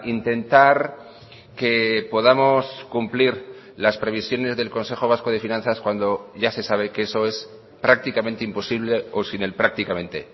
intentar que podamos cumplir las previsiones del consejo vasco de finanzas cuando ya se sabe que eso es prácticamente imposible o sin el prácticamente